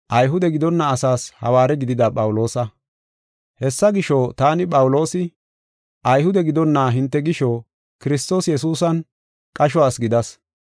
Hessa gisho, taani, Phawuloosi, Ayhude gidonna hinte gisho Kiristoos Yesuusan qasho asi gidas.